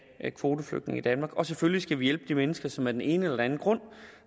kvoteflygtninge i danmark og selvfølgelig skal vi hjælpe de mennesker som af den ene eller anden grund